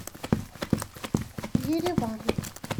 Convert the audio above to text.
ереван